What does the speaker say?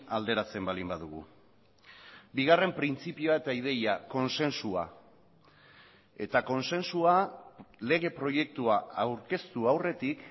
alderatzen baldin badugu bigarren printzipioa eta ideia kontsensua eta kontsensua lege proiektua aurkeztu aurretik